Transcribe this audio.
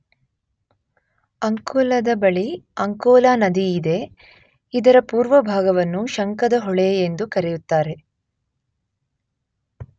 ಅಂಕೋಲದ ಬಳಿ ಅಂಕೋಲ ನದಿ ಇದೆ.ಇದರ ಪೂರ್ವ ಭಾಗವನ್ನು ಶಂಕದ ಹೊಳೆ ಎಂದು ಕರೆಯುತ್ತಾರೆ.